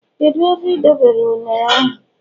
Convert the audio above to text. kedu ebe ị dobere ụnere ahu